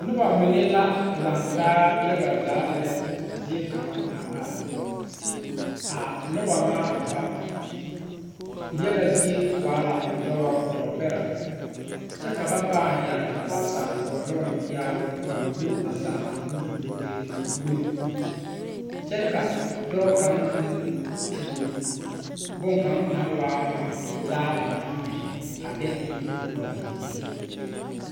Noba mine la laŋtaa yaga zaa lɛ zie kaŋ a are a noba ŋa ba yaga zie waa la dɔbɔ dɔɔ bɛrɛ kyɛ ka ba pãã yɛre ba saakoŋnoŋ yɛribo a wullo ba saakoŋnoŋ wulee wulibu kyɛ ka dɔɔ kaŋ meŋ tuo bonkaŋ naŋ waa ŋa laa ba naŋ mɛ a de bonbullo dɔgle o zu.